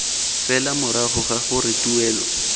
fela morago ga gore tuelo